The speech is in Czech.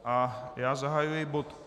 A já zahajuji bod